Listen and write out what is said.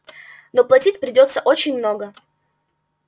но платить придётся очень много